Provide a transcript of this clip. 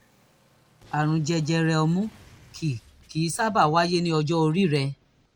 àrùn jẹjẹrẹ ọmú kì kì í sábà wáyé ní ọjọ́ orí rẹ